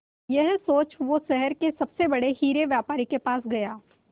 यह सोच वो शहर के सबसे बड़े हीरे के व्यापारी के पास गया